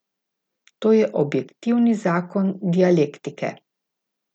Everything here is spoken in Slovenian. To je objektivni zakon dialektike!